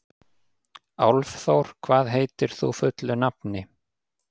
Álfþór, hvað heitir þú fullu nafni?